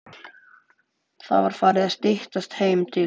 Það var farið að styttast heim til